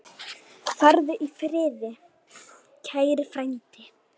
Farðu í friði, kæri frændi.